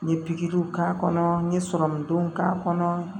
N ye pikiriw k'a kɔnɔ n ye sɔrɔmudenw k'a kɔnɔ